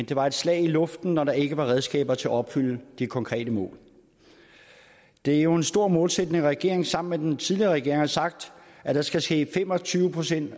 det var et slag i luften når der ikke var redskaber til at opfylde de konkrete mål det er jo en stor målsætning at regeringen sammen med den tidligere regering har sagt at der skal ske fem og tyve procent